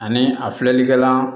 Ani a filɛlikɛlan